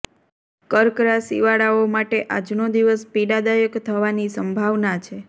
કર્ક રાશિવાળાઓ માટે આજનો દિવસ પીડાદાયક થવાની સંભાવના છે